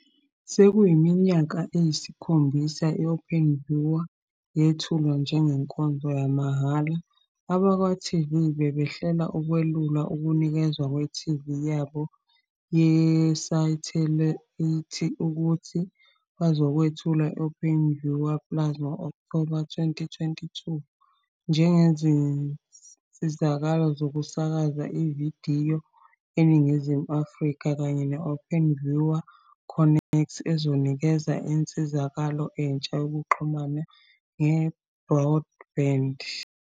Sekuyiminyaka eyisikhombisa i- Openview yethulwa njengenkonzo yamahhala, abakwa-e.tv bebehlela ukwelula ukunikezwa kwe-TV yabo yesathelayithi futhi bazokwethula i-Openview Plus ngo-Okthoba 2020 njengensizakalo yokusakaza ividiyo eNingizimu Afrika kanye ne-Openview Connect ezonikeza insizakalo entsha yokuxhuma nge-broadband.